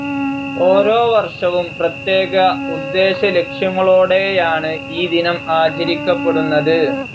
ഓരോവർഷവും പ്രത്യേക ഉദ്ദേശലക്ഷ്യങ്ങളോടെയാണ് ഈ ദിനം ആചരിക്കപ്പെടുന്നത്.